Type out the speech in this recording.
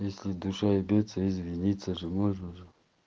если душа бьётся извиниться же можно же